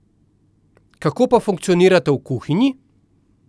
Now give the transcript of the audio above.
Kako pa funkcionirata v kuhinji?